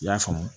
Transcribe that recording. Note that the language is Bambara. I y'a faamu